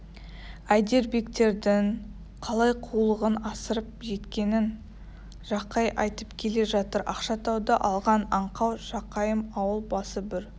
әйдербектердің қалай қулығын асырып кеткенін жақай айтып келе жатыр ақшатауды алған аңқау жақайым ауыл басы бір